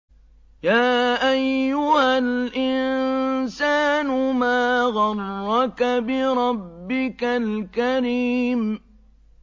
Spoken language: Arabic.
يَا أَيُّهَا الْإِنسَانُ مَا غَرَّكَ بِرَبِّكَ الْكَرِيمِ